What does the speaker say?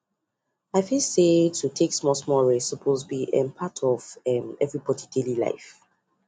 i feel say to take smallsmall rest suppose be um part of um everybody daily life